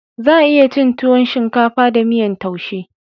Za a iya cin tuwon shinkafa da miyan taushe